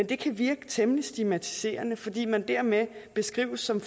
det virke temmelig stigmatiserende fordi man dermed beskrives som